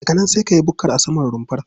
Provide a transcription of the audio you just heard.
Daga nan sai ka yi bukkar a saman rumfar.